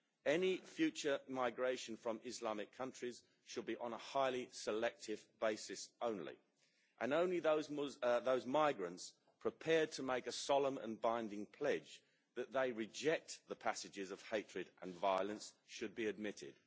Any future migration from Islamic countries should be on a highly selective basis only, and only those migrants prepared to make a solemn and binding pledge that they reject the passages of hatred and violence should be admitted.